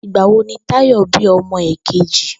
Ìgbà wo ni Táyò̩ bí o̩mo̩ èkejì?